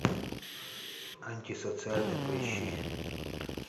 антисоциальный поищи